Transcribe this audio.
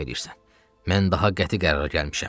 Mən daha qəti qərara gəlmişəm.